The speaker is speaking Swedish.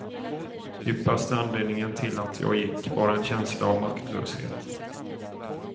Djupaste anledningen till att jag gick var en känsla av maktlöshet.